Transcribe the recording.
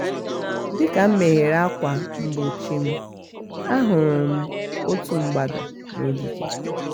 dịka m meghere ákwà mgbochi m a hụrụ m otu mgbada n'ogige